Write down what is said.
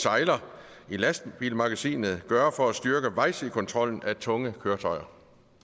sejler i lastbilmagasinet gøre for at styrke vejsidekontrollen af tunge køretøjer